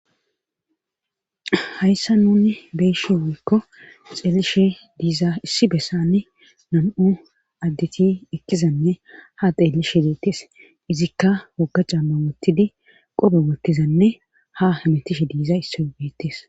hayssa nunni beeshe woykko xeellishe diiza issi bessane nam7u addeti ekkizanne ha xeellishe deettes izikka woga camma wottidi qobe wottizanne ha hemetishe diiza issobeettes